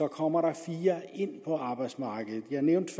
kommer der fire ind på arbejdsmarkedet jeg nævnte